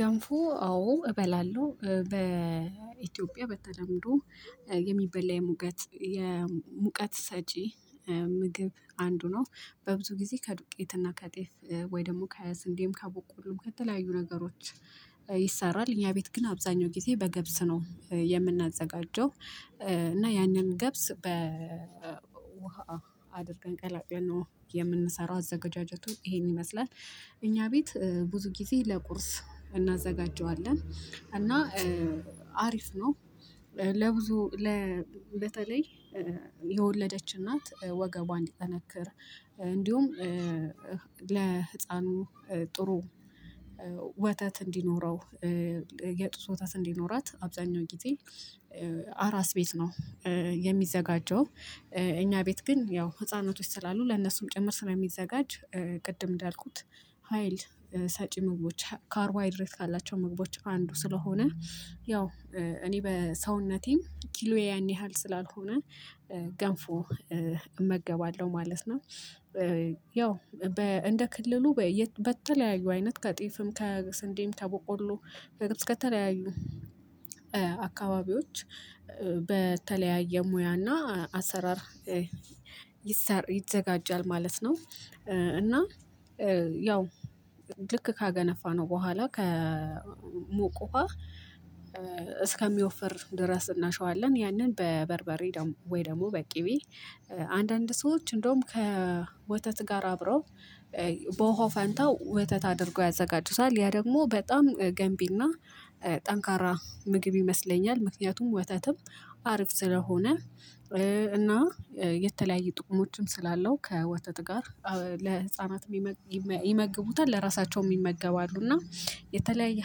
ገንፉ አዎ እበላለሁ በኢትዮጵያ በተለምዶ የሚበላ የሙቀት የሙቀት ሰጪ ምግብ አንዱ ነው በብዙ ጊዜ ከዱቄትና ከጤፍ ወይ ደግሞ ከስንዴም ካቦቆሎም ከተለያዩ ነገሮች። ይሰራል እኛ ቤት ግን አብዛኛው ጊዜ በገብስ ነው የምናዘጋጀው። እና ያንን ገብስ በ ውሃ አድርገን ቀላቅለን ነው የምንሰራው አዘጋጃጀቱ ይሄን ይመስላል። እኛ ቤት ብዙ ጊዜ ለቁርስ እናዘጋጀዋለን እና አሪፍ ነው። ለብዙ ለ በተለይ የወለደች እናት ወገቧ እንዲጠነክር እንዲሁም ለህፃኑ ጥሩ ወተት እንዲኖረው የጡት ወተት እንዲኖራት አብዛኛው ጊዜ አራስ ቤት ነው የሚዘጋጀው። እኛ ቤት ግን ያው ህፃኖቶች ስላሉ ለነሱም ጭምር ስለሚዘጋጅ ቅድም እንዳልኩት ሀይል ሰጪ ምግቦች ካርዋይድሬት ካላቸው ምግቦች አንዱ ስለሆነ ያው እኔ በሰውነቴም ኪሎዬ ያን ያህል ስላልሆነ ገንፎ እመገባለሁ ማለት ነው። ያው እንደ ክልሉ በተለያዩ አይነት ከጤፍም ከስንዴም ከቦቆሎ ከተለያዩ አካባቢዎች በተለያየ ሙያና አሰራር ይሰር ይዘጋጃል ማለት ነው። እና ያው ልክ ካገነፋነው በኋላ ከሞቅ ውሃ እስከሚወፈር ድረስ እናሸዋለን ያንን በበርበሬ ወይ ደግሞ በቂቤ አንዳንድ ሰዎች እንደውም ከወተት ጋር አብረው በውሃው ፋንታው ወተት አድርጎ ያዘጋጁታል ያ ደግሞ በጣም ገንቢና ጠንካራ ምግብ ይመስለኛል። ምክንያቱም ወተትም አርፍ ስለሆነ እና የተለያየ ጥቅሞችም ስላለው ከወተት ጋር ለህፃናት ይመግቡታል ለራሳቸውም ይመገባሉ እና የተለያየ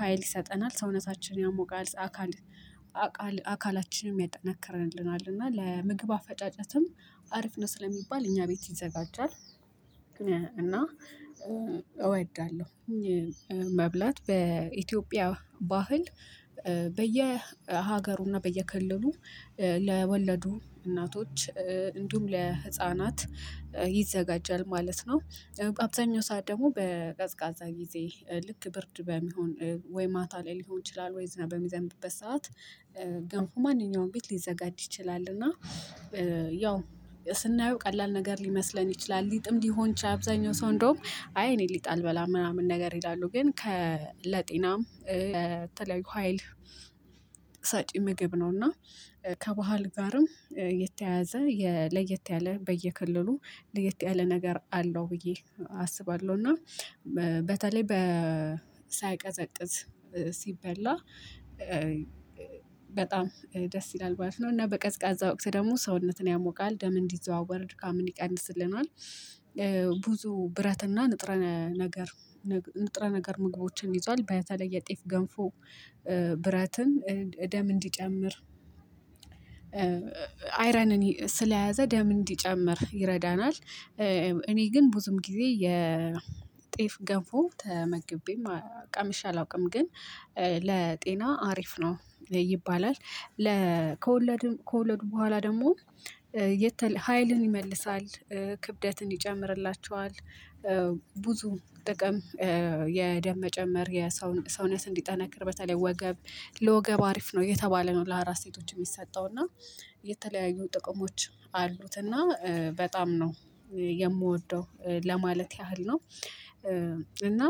ሀይል ይሰጠናል ሰውነታችን ያሞቃል አካል አካላችንም ያጠናክረንልናል እና ለምግብ አፈጫጨትም አሪፍ ነው ስለሚባል እኛ ቤት ይዘጋጃል። እና እወዳለሁ መብላት በኢትዮጵያ ባህል በየሀገሩና በየክልሉ ለወለዱ እናቶች እንዲሁም ለህፃናት ይዘጋጃል ማለት ነው። በአብዛኛው ሰዓት ደግሞ በቀዝቃዛ ጊዜ ልክ ብርድ በመሆን ወይ ማታ ላይ ሊሆን ይችላል ወይስ በሚዘንብበት ሰዓት ግን እኮ ማንኛውም ቤት ሊዘጋጅ ይችላል። እና ያው ስናየው ቀላል ነገር ሊመስለን ይችላል ሊጥም ሊሆን ይችላል። አብዛኛው ሰው እንደውም አይ እኔ ሊጥ አልበላም ምናምን ነገር ይላሉ ግን ከለጤናም በተለያዩ ሀይል ሳጪ ምግብ ነው። እና ከባህል ጋርም የተያያዘ ለየት ያለ በየክልሉ ለየት ያለ ነገር አለው ብዬ አስባለሁ። እና በተለይ በ ሳይቀዘቅዝ ሲበላ በጣም ደስ ይላል ባለፍ ነው እና በቀዝቃዛ ወቅት ደግሞ ሰውነትን ያሞቃል ደም እንዲዘዋወር ድካምን ይቀንስልናል። ብዙ ብረትና ንጥረ ነገር ንጥረ ነገር ምግቦችን ይዟል በተለይ ላይ የጤፍ ገንፎ ብረትን እደም እንዲጨምር አይረንን ስለያዘ ደም እንዲጨምር ይረዳናል። እኔ ግን ብዙም ጊዜ የጤፍ ገቦ ተመግቤም ቀምሸ አላውቅም ግን ለጤና አሪፍ ነው ይባላል። ለ ከወለድም ከወለዱ በኋላ ደግሞ የተለ ሀይልን ይመልሳል ክብደትን ይጨምርላቸዋል። ብዙ ጥቅም የደም መጨመር የሰው ሰውነት እንዲጠነክር በተለይ ወገብ ለወገብ አሪፍ ነው እየተባለ ነው ለአራስ ሴቶች የሚሰጠው እና የተለያዩ ጥቅሞች አሉት እና በጣም ነው የምወደው ለማለት ያህል ነው። እና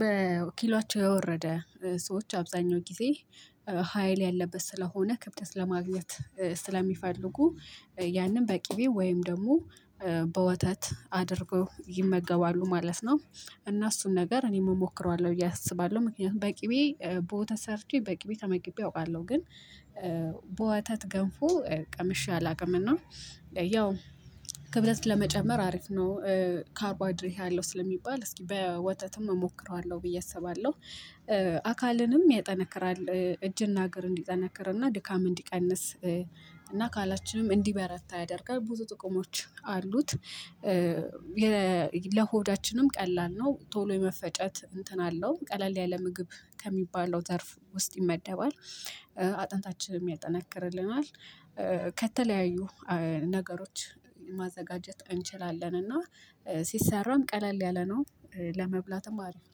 በወኪሏቸው የወረደ ሰዎች አብዛኛው ጊዜ ሀይል ያለበት ስለሆነ ክብደት ለማግኘት ስለሚፈልጉ ያንን በቅቤ ወይም ደግሞ በወተት አድርገው ይመገባሉ ማለት ነው። እና እሱን ነገር እኔም እሞክረዋለሁ ብዬ አስባለሁ ምክንያቱም በቂቤ ቦወተት ሰርቼ በቂቤ ተመግቤ አውቃለሁ። ግን በወታት ገንፎ ቀምሼ አላውቅም። እና ያው ክብለት ለመጨመር አሪፍ ነው። ካርቦሃይድሬት አለሁ ስለሚባል እስኪ በወተትም እሞክረዋለሁ ብዬ አስባለሁ። አካልንም ያጠነከራል እጅና እግር እንዲጠነክርና ድካም እንዲቀንስ እና አካላችንም እንዲህ በረታ ያደርጋል ቡዙ ጥቅሞች አሉት። ለሆዳችንም ቀላል ነው ቶሎ የመፈጨት እንትን አለው ቀለል ያለ ምግብ ከሚባለው ዘርፍ ውስጥ ይመደባል። አጥንታችንን ያጠናክርልናል። ከተለያዩ ነገሮች ማዘጋጀት እንችላለን እና ሲሰራም ቀለል ያለ ነው። ለመብላትም አሪፍ